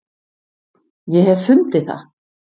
Ég hef fundið það!